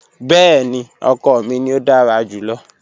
Bẹẹni, ọkọ mi ni o dara julọ.